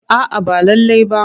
A'a ba lallai ba.